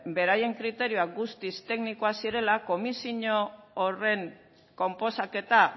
beraien kriterioak guztiz teknikoak zirela komisio horren konposaketa